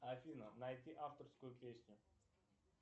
афина найти авторскую песню